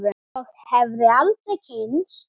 Og hefði aldrei kynnst